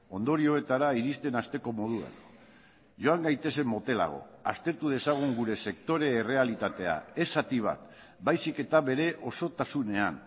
ondorioetara iristen hasteko moduan joan gaitezen motelago aztertu dezagun gure sektore errealitatea ez zati bat baizik eta bere osotasunean